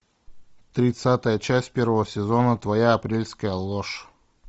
тридцатая часть первого сезона твоя апрельская ложь